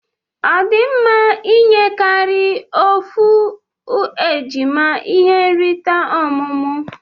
Odimma inye karia ofu ejima ihe nrita ọmụmụ?